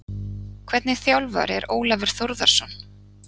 Hvernig þjálfari er Ólafur Þórðarson?